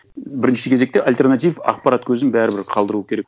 бірінші кезекте альтернатив ақпарат көзін бәрібір қалдыру керек